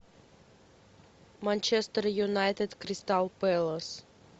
манчестер юнайтед кристал пэлас